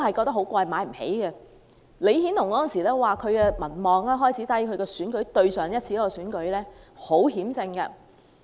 當時李顯龍的民望開始低落，在上一次選舉中只是險勝。